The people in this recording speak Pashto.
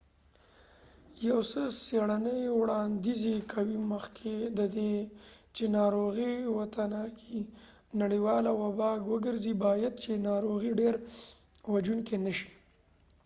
یو څه څیړنی وړانديز کوي مخکې ددې چې ناروغی وتوانیږی نړیواله وبا وګرځی باید چې ناروغی ډیره وژونکې نه شي